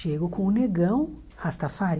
Chego com o negão Rastafari.